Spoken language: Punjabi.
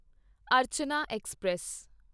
ਅਰਚਨਾ ਐਕਸਪ੍ਰੈਸ